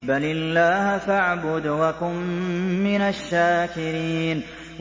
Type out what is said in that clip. بَلِ اللَّهَ فَاعْبُدْ وَكُن مِّنَ الشَّاكِرِينَ